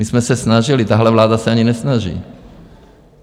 My jsme se snažili, tahle vláda se ani nesnaží.